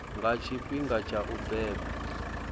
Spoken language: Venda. nga tshifhinga tsha u beba